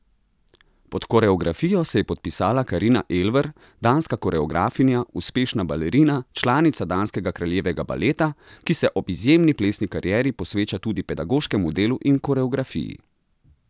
Pod koreografijo se je podpisala Karina Elver, danska koreografinja, uspešna balerina, članica Danskega kraljevega baleta, ki se ob izjemni plesni karieri posveča tudi pedagoškemu delu in koreografiji.